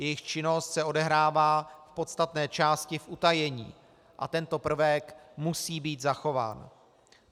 Jejich činnost se odehrává v podstatné části v utajení a tento prvek musí být zachován.